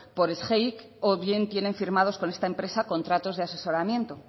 por sgeic o bien tienen firmados con esta empresa contratos de asesoramiento